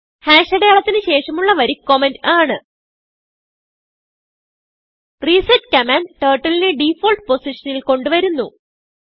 അടയാളത്തിന് ശേഷമുള്ള വരി കമന്റ് ആണ് റിസെറ്റ് കമാൻഡ് Turtleനെ ഡിഫോൾട്ട് പൊസിഷനിൽ കൊണ്ട് വരുന്നു